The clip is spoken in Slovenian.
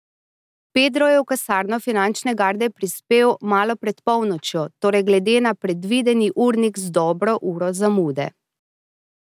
Pedro je v kasarno Finančne garde prispel malo pred polnočjo, torej glede na predvideni urnik z dobro uro zamude.